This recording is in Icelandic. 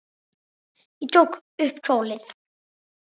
Ég tók upp tólið.